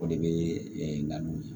O de bɛ nkalon ye